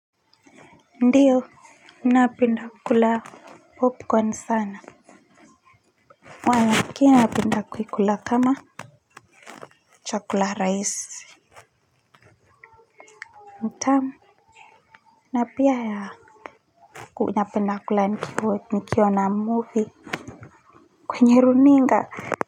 Ndiyo napenda kula popcorn sana lakini napenda kuikula kama chakula rahisi ni tamu na pia ya napenda kula nikiona movie kwenye runinga.